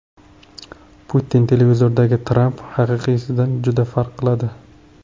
Putin: Televizordagi Tramp haqiqiysidan juda farq qiladi.